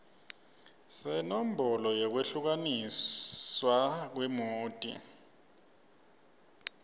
senombolo yekwehlukaniswa kwemoti